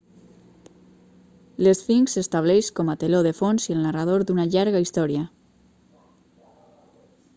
l'esfinx s'estableix com a teló de fons i el narrador d'una llarga història